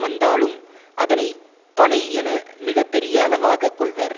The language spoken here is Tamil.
வந்தாலும் அதனை பனை என மிக பெரிய அளவாக கொள்வர்